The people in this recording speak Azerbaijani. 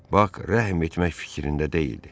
Bak rəhm etmək fikrində deyildi.